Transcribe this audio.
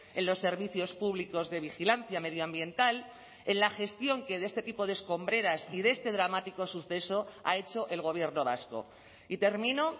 en los servicios públicos de vigilancia medioambiental en la gestión que de este tipo de escombreras y de este dramático suceso ha hecho el gobierno vasco y termino